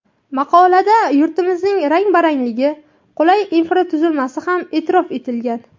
Maqolada yurtimizning rang-barangligi, qulay infratuzilmasi ham e’tirof etilgan.